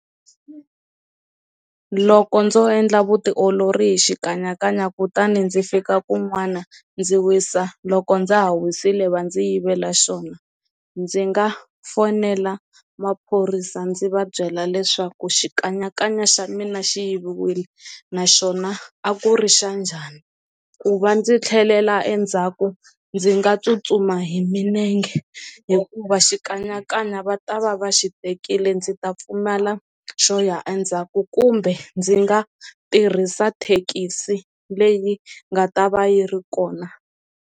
Loko ndzo endla vutiolori hi xikanyakanya kutani ndzi fika kun'wana ndzi wisa, loko ndza ha wisile va ndzi yivela xona ndzi nga fonela maphorisa ndzi va byela leswaku xikanyakanya xa mina xi yiviwile naxona a ku ri xa njhani, ku va ndzi tlhelela endzhaku ndzi nga tsutsuma hi minenge hikuva xikanyakanya va ta va va xi tekile ndzi ta pfumala xo ya endzhaku kumbe ndzi nga tirhisa thekisi leyi nga ta va yi ri kona.